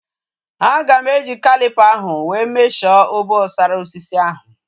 Aga m eji calipa ahu wee mesho obosara osisi ahu